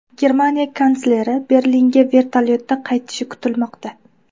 Germaniya kansleri Berlinga vertolyotda qaytishi kutilmoqda.